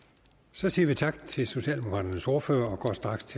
så siger vi tak til socialdemokraternes ordfører og går straks til